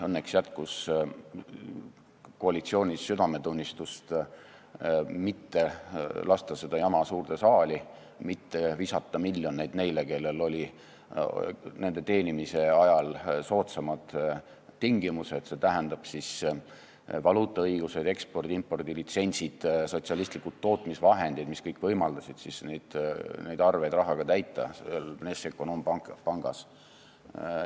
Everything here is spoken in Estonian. Õnneks jätkus koalitsioonis südametunnistust mitte lasta seda jama suurde saali, mitte visata miljoneid neile, kellel olid nende teenimise ajal soodsamad tingimused, st valuutaõigused, ekspordi- ja impordilitsentsid, sotsialistlikud tootmisvahendid, mis kõik võimaldasid neid arveid Vnešekonombankis rahaga täita.